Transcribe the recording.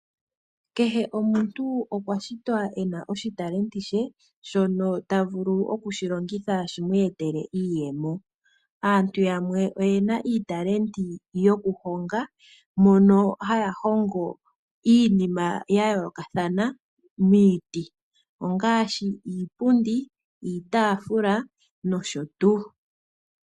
Kehe omuntu okwashitwa ena oshipewa she shono ta vulu okulongitha a mone iiyemo. Aantu yamwe oyena iipewa yokuhonga mono haya hongo iinima yayoolokathana miiti ngaashi iipundi, iitafula nosho tuu.